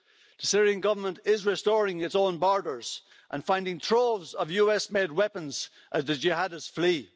The Syrian Government is restoring its own borders and finding troves of US made weapons as the jihadists flee.